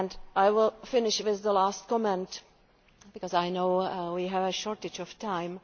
I will finish with this last comment, because I know we have a shortage of time.